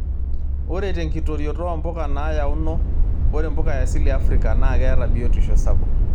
Ore tenkitorioto oo mpuka naayaono, ore mpuka e asili e Afrika naa keeta biotisho sapuk.